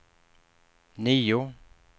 nio